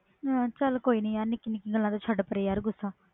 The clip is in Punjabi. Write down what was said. ਚਲ ਕੋਈ ਨਹੀਂ ਨਿੱਕੀ ਨਿੱਕੀ ਗੱਲ ਦਾ ਛੱਡ ਪਰਾ ਗੁੱਸਾ